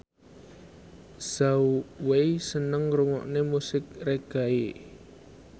Zhao Wei seneng ngrungokne musik reggae